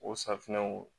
O safunɛw